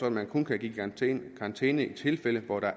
at man kun kan give karantæne i tilfælde hvor der